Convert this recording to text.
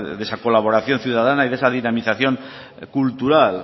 de esa colaboración ciudadana y de esa dinamización cultural